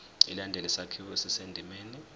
ilandele isakhiwo esisendimeni